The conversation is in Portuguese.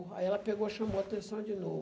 Aí ela pegou chamou a atenção de